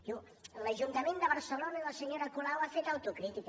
diu l’ajuntament de barcelona i la senyora colau han fet autocrítica